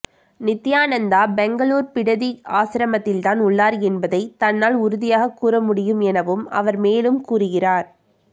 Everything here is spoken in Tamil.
நித்தியானந்தா பெங்களூரு பிடதி ஆசிரமத்தில்தான் உள்ளார் என்பதை தன்னால் உறுதியாக கூற முடியும் எனவும் அவர் மேலும் கூறுகிறார்